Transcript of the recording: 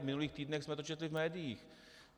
V minulých týdnech jsme to četli v médiích.